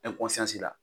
la